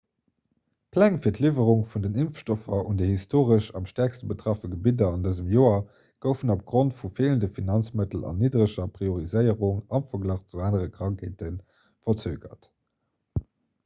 d'pläng fir d'liwwerung vun den impfstoffer un déi historesch am stäerkste betraff gebidder an dësem joer goufen opgrond vu feelende finanzmëttel an niddereger prioriséierung am verglach zu anere krankheete verzögert